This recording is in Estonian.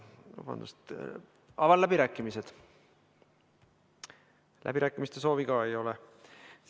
Läbirääkimiste soovi ei ole.